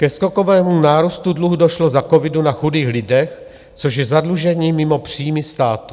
Ke skokovému nárůstu dluhu došlo za covidu na chudých lidech, což je zadlužení mimo příjmy státu.